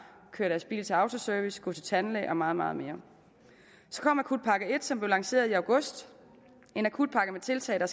køre deres bil til autoservice gå til tandlæge og meget meget mere så kom akutpakke som blev lanceret i august en akutpakke med tiltag der